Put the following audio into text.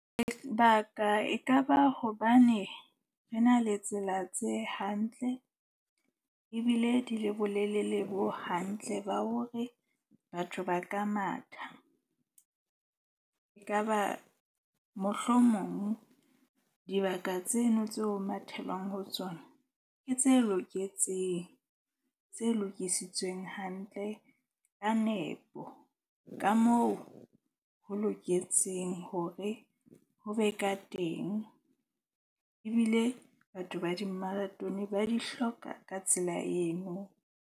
Ekaba hobane re na le tsela tse hantle ebile di le bolelele bo hantle ba hore batho ba ka matha. E kaba mohlomong dibaka tseno tseo mathelwang ho tsona ke tse loketseng, tse lokisitsweng hantle ka nepo. Ka moo ho loketseng hore ho be ka teng. Ebile batho ba di-marathon ba di hloka ka tsela eno.